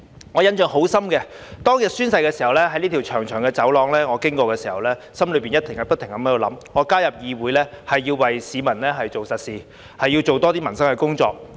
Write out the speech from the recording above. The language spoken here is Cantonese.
我印象很深的是，宣誓當日，我經過這條長長的走廊時，心內不停在想，我加入議會是要為市民做實事，要多做一些民生的工作。